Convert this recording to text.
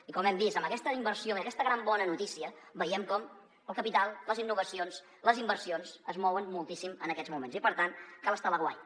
i com hem vist amb aquesta inversió i aquesta gran bona notícia veiem com el capital les innovacions les inversions es mouen moltíssim en aquests moments i per tant cal estar a l’aguait